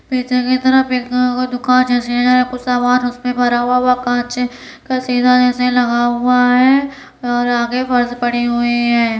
पेचे के तरफ एक-अ को दुकां जैसी कुछ सामान उसपे भरा हुआ वह कांच हे कसीदा ऐसे लगा हुआ है और आगे फर्श पड़ी हुई है।